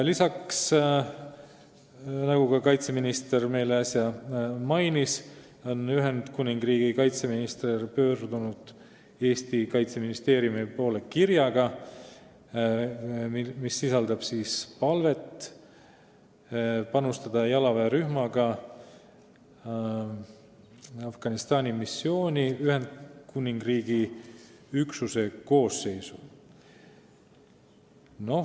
Lisaks, nagu kaitseminister meile äsja mainis, on Ühendkuningriigi kaitseminister pöördunud Eesti Kaitseministeeriumi poole kirjaga, mis sisaldab palvet panustada jalaväerühmaga Afganistani missiooni Ühendkuningriigi üksuse koosseisu.